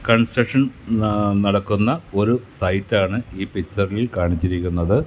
Construction നടക്കുന്ന ഒരു സൈറ്റാണ് ഈ പിക്ചറിൽ കാണിച്ചിരിക്കുന്നത്.